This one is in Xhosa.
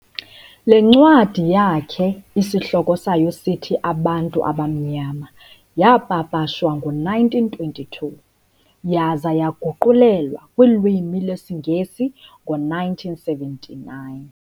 "Le ncwadi yakhe isihloko sayo sithi Abantu Abamnyama" yaapapashwa ngo-1922, yaza yaguqulelwa kulwimi lwesiNgesi ngowe-1979.